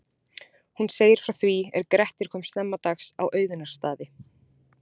Hún segir frá því er Grettir kom snemma dags á Auðunarstaði.